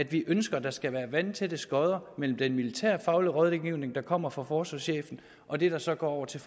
vi ønsker at der skal være vandtætte skotter mellem den militærfaglige rådgivning der kommer fra forsvarschefen og det der så går over til